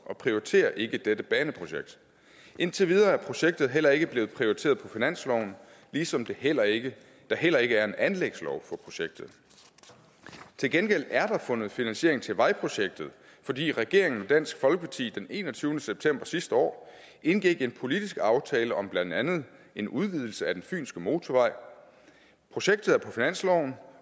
og prioriterer ikke dette baneprojekt indtil videre er projektet heller ikke blevet prioriteret på finansloven ligesom der heller ikke heller ikke er en anlægslov for projektet til gengæld er der fundet finansiering til vejprojektet fordi regeringen og dansk folkeparti den enogtyvende september sidste år indgik en politisk aftale om blandt andet en udvidelse af fynske motorvej projektet er på finansloven